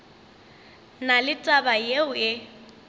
na le taba yeo e